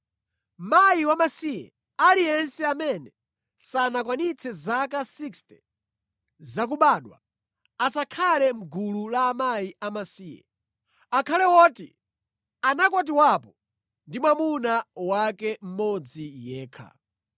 Mayi wamasiye aliyense amene sanakwanitse zaka 60 zakubadwa, asakhale mʼgulu la akazi amasiye. Akhale woti anakwatiwapo ndi mwamuna wake mmodzi yekha.